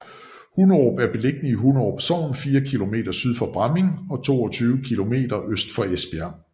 Hunderup er beliggende i Hunderup Sogn fire kilometer syd for Bramming og 22 kilometer øst for Esbjerg